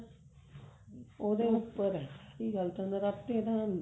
ਉਹਦੇ ਉੱਪਰ ਆ ਸਾਰੀ ਗੱਲ ਤਾਂ ਨਰਾਤੇ ਤਾਂ